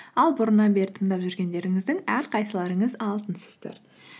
ал бұрыннан бері тыңдап жүргендеріңіздің әрқайсыларыңыз алтынсыздар